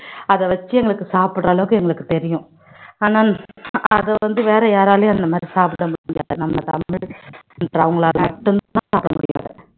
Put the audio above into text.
அத வச்சு எங்களுக்கு சாப்பிடற அளவுக்கு எங்களுக்கு தெரியும் ஆனா அத வந்து வேற யாராலையும் அந்த மாதிரி சாப்பிட முடியாது நம்ம தமிழ் அவங்களால மட்டும்தான் சாப்பிட முடியும்